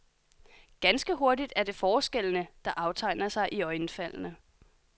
Ganske hurtigt er det forskellene, der aftegner sig iøjnefaldende.